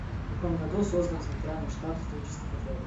в каком году создан центральный штаб студенческих отрядов